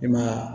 I ma ye wa